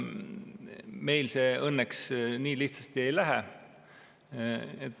Meil see õnneks nii lihtsasti ei lähe.